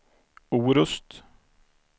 Orust